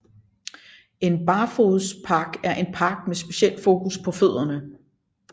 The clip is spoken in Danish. En barfodspark er en park med speciel fokus på fødderne